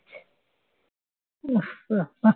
উফ্